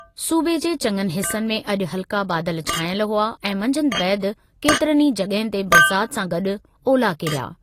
सूबे जे चङनि हिसनि में अॼु हल्का बादल छांइजल हुआ ऐं मंझंदि बैदि केतिरनि ई जॻहियुनि ते बरसाति सां गॾु ओला किरिया।